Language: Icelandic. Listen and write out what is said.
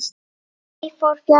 Því fór fjarri.